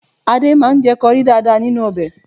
Adé máa ń jẹ kọrí dáadáa nínú ọbẹ̀